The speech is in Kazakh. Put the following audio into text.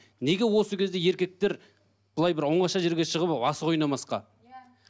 неге осы кезде еркектер былай бір оңаша жерге шығып асық ойнамасқа иә